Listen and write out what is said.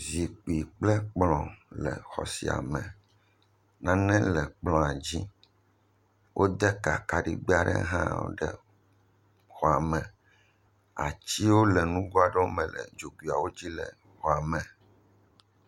Zikpui kple kplɔ le xɔ sia me, nane le kplɔ la dzi, wode ka kaɖigbɛ aɖe hã le xɔa me, atiwo le nugo aɖewo me le xɔa me, atiwo le nugoe aɖewo me le dzogoeawo dzi le xɔa me.